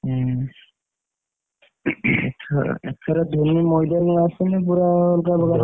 ହୁଁ ଆଛା ଏଇଥର ଧୋନୀ ମଇଦାନ କୁ ଆସିନେ ପୁରା ଅଲଗା ପ୍ରକାର ।